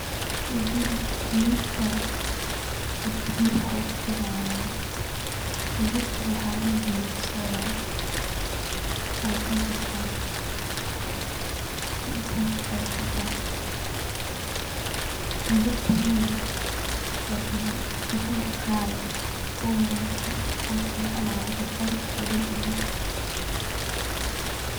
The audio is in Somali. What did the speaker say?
Digir, digirta oo digiraha ogu fican waye, digirtan waxaa ladhaha digir soya, harakay kartaa, shan iyo toban daqiiqa ayay kukarta, digirtaney waa digir qaali eh oo wanaagsan oo fican oo haraka kaari oo dhadhan leh